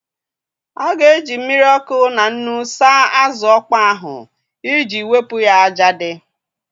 A ga-eji mmiri ọkụ na nnu saa azụ ọkpọ ahụ iji wepụ ya ájá dị.